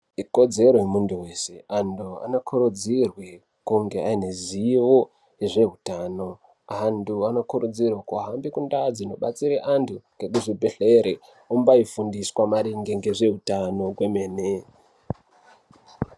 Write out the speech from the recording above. Ikodzero yemuntu weshe antu anokurudzirwe kunge aive ane zivo nezveutano antu anokurudzirwe kuhambe kundau dzinobatsire antu ngeku zvibhehlere ombai fundiswe maringe ngezveutano kwemene.